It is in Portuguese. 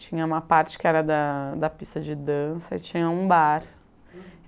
Tinha uma parte que era da da pista de dança e tinha um bar.